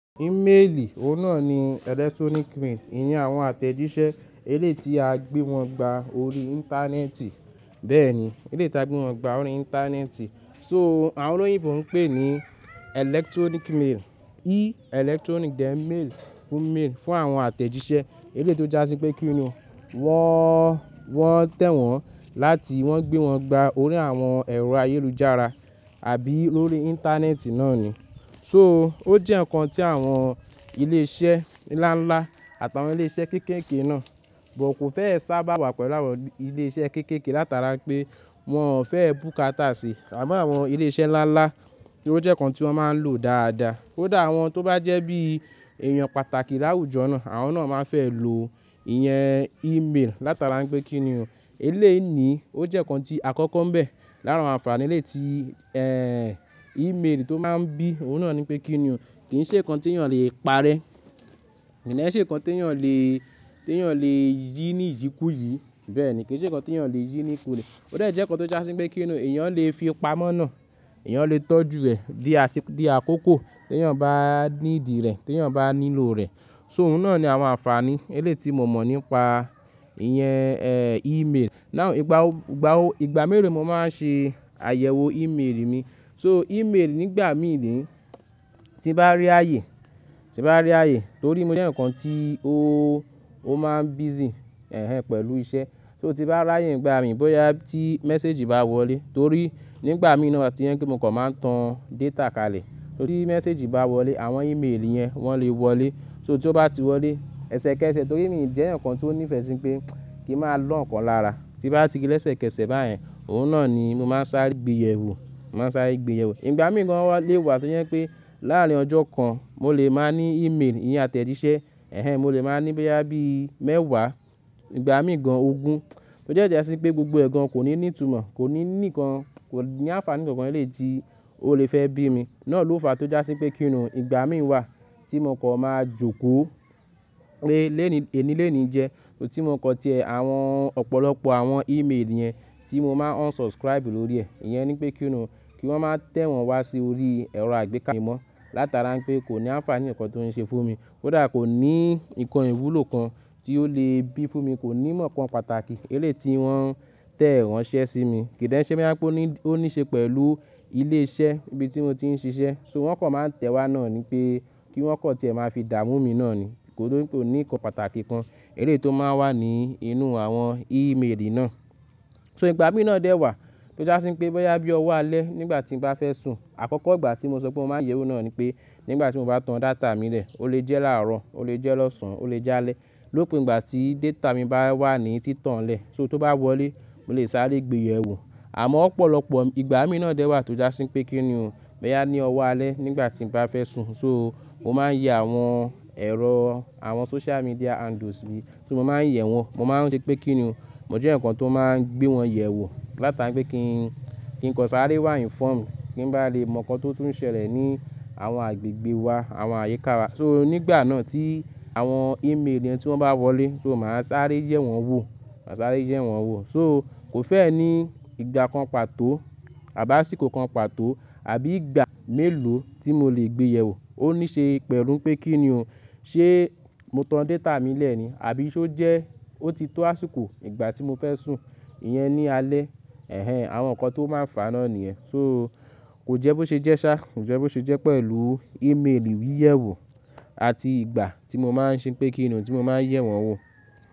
Email, òun náà ni electronic mail. Ìyẹn àwọn àtẹ̀jíṣẹ́ eléyi tí a gbé wọn gba orí Íńtánẹ́ẹ̀tì. Bẹ́ẹ̀ni, eléyi tí a gbé wọn gba orí Íńtánẹ́ẹ̀tì. So àwọn olóyìnbo ń pè ní electronic mail, e electronic, then mail, email fún àwọn àtẹ̀jíṣẹ́. Eléyi tó jásí pé kí ni o, wọ́n, wọ́n tẹ̀wọ́n láti wọ́n gbé wọn gba orí àwọn ẹ̀rọ ayélujára àbí lórí Íńtánẹ́ẹ̀tì náà ni. So ó jẹ́ ǹkan tí àwọn ilé iṣẹ́ ńlá ńlá àtàwọn ilé iṣẹ́ kéékèèké náà, but kò fẹ́ sábà wà pẹ̀lú àwọn ilé iṣẹ́ kéékèèké látara pé wọ́n ò fẹ́ bùkátà sí. Àmáwọn ilé iṣẹ́ ńlá ńlá, ó jẹ́ ǹkan tí wọ́n máa ń lò dáadáa. Kodà awọ́n tó bá jẹ́ bí èèyàn pàtàkì láwùjọ náà, àwọn náà máa fẹ́ lò ìyẹn email látara pé kí ni o, eléyi ni ó jẹ́ ǹkan tí àkọ́kọ́ ń bẹ̀ lára àwọn ànfàní eléyi tí, email tó máa ń bí, òun náà ni pé kí ni o, kì í ṣe ǹkan tí èèyàn lè parẹ́. Kí de ṣe ǹkan tí èèyàn lè, tí èèyàn lè yí ní ìyí kú yìí. Bẹ́ẹ̀ni, kì í ṣe ǹkan tí èèyàn lè yí ní ikún ilé. Ó de jẹ́ ǹkan tó jásí pé kí ni o, èèyàn lè fi pamọ́ náà, èèyàn lè tọ́jú rẹ̀ di àsìkò, di àkókò tí èèyàn bá need rẹ̀, tí èèyàn bá nílò rẹ̀. So òun náà ni àwọn ànfàní eléyi tí mo mọ̀ nípa ìyẹn, email. Igba, igba o, ìgbà mélo mo máa ń ṣe àyẹ̀wò email mi. So email nígbà mìí ni tí bá rí ààyè, tí bá rí ààyè torí mo jẹ́ ǹkan tí ó, ó máa ń busy, ẹ́hẹ́n, pẹ̀lú iṣẹ́. So tí bá rí ààyè nígbà mìí bóyá tí message bá wọlé torí nígbà mìí náà wa tí iyan kí mo kọ̀ máa ń tan data kalẹ̀. Torí message bá wọlé àwọn email yẹn wọ́n lè wọlé. So tí ó bá ti wọlé, ẹsẹkẹsẹ torí èmi jẹ́ ǹkan tí ó nífẹ̀ẹ́ sí pé kí ń máa lọ́ ǹkan lára. Ti bá ti rí lẹ́sẹkẹsẹ̀ báyẹn, òun náà ni mo máa ń sáré gbéyẹ̀wò, mo máa ń sáré gbéyẹ̀wò. Ìgbà míì gan lọ wá tó jẹ́ pé láàárín ọjọ́ kan mo lè máa ní email ìyẹn àtẹ̀jíṣẹ́, ẹ́hẹ́n, mo lè máa ní bóyá bí mẹ́wàá, ìgbà míì gan ogún. Ó de jẹ́sí pé gbogbo ẹ̀gan kò ní ní ìtumọ̀, kò ní ní ìkan, kò ní ànfàní ǹkan ẹlẹ́yi ti olè fẹ́ bí mi. Náà ló fa tó jásí pé kí ni o, ìgbà míì wà tí mo kọ̀ máa jókòó pé lẹni eni lenìí jẹ, ti mo kọ̀ tẹ àwọn ọ̀pọ̀lọpọ̀ àwọn email yẹn tí mo máa unsubscribe lórí ẹ̀. Ìyẹn ni pé kí ni o, kí wọ́n máa tẹ̀ wọ́n wá sí orí ẹ̀rọ àgbékà mi mọ́ látara pé kò ní ànfàní ǹkan tó ń ṣe fún mi. Ko dà kò ní nǹkan ìwúlò kan tí ó lè bí fún mi, kò ní mọ̀ọ́kan pàtàkì eléyi tí wọ́n tẹ̀ wọ́n ṣẹ́ sí mi. Kìdíń ṣe bí i bá pé ó ní, ó ní ṣe pẹ̀lú ilé iṣẹ́ ibi tí mo ti ń ṣiṣẹ́, so wọ́n kọ̀ máa ń tẹ̀ wá náà ni pé kí wọ́n kọ̀ tẹ máa fi dà mú mi náà ni. Kò ní, kò ní nǹkan pàtàkì kan eléyi tó máa wà ní inú àwọn email náà. So ìgbà míì náà dẹ́ wà tó jásí pé bóyá bí o wá lẹ́ nígbà tí mo bá fẹ́ sùn. Àkọ́kọ́ ìgbà tí mo sọ pé mo máa ń yẹ̀wò náà ni pé nígbà tí mo bá tan data mi lẹ̀, ó lè jẹ́ láàrọ̀, ó lè jẹ́ lọ́sàn-án, ó lè jẹ́ alẹ́. Lópin ìgbà tí data mi bá wà ní títàn lẹ̀, so tí ó bá wọlé, mo lè sáré gbéyẹ̀wò. Àmá ọ̀pọ̀lọpọ̀ ìgbà míì náà dẹ́ wà tó jásí pé kí ni o, bóyá ní ọwọ́ alẹ́ nígbà tí mo bá fẹ́ sùn. So mo máa ń yẹ àwọn ẹ̀rọ àwọn social media handles mi, so mo máa ń yẹ̀ wọ́n. Mo máa ń ṣe pé kí ni o, mo jẹ́ ǹkan tó máa ń gbé wọn yẹ̀wò látara pé kí n, kí ǹkan sáré wà inform, kí n bá lè mọ̀ ǹkan tó tún ṣẹlẹ̀ ní àwọn agbègbè wa, àwọn àyíká wa. So nígbà náà tí àwọn email yẹn tí wọ́n bá wọlé, so máa sáré yẹ̀ wọ́n wò, máa sáré yẹ̀ wọ́n wò. So kò fẹ́ ẹ ní ìgbà kan pàtó àbí àsìkò kan pàtó àbí ìgbà mélòó tí mo lè gbéyẹ̀wò. Ó ní ṣe pẹ̀lú pé kí ni o, ṣé mo tan data mi lẹ̀ ni àbí ṣé ó jẹ́ ó ti tó àsìkò ìgbà tí mo fẹ́ sùn. Ìyẹn ni alẹ́, ẹ́hẹ́n, àwọn ǹkan tó máa ń fàáná nìyẹn. So kò jẹ́ bó ṣe jẹ́ ṣá, kò jẹ́ bó ṣe jẹ́ pẹ̀lú email wí yẹ̀wò àti ìgbà tí mo máa ń ṣe pé kí ni o tí mo máa ń yẹ̀ wọ́n wò.